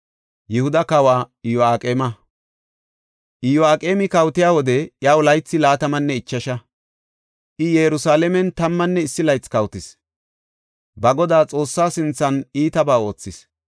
Iyo7aqeemi kawotiya wode iyaw laythi laatamanne ichasha; I Yerusalaamen tammanne issi laythi kawotis. Ba Godaa Xoossaa sinthan iitabaa oothis.